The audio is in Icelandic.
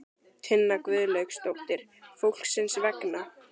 Tinna Gunnlaugsdóttir: Fólksins vegna?